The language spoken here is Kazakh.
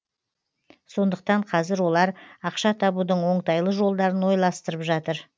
сондықтан қазір олар ақша табудың оңтайлы жолдарын ойластырып жатыр